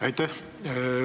Aitäh!